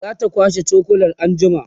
zata kwashe cokulan anjima